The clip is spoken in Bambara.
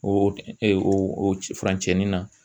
O ee o furancɛ nin na